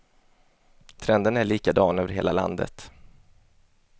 Trenden är likadan över hela landet.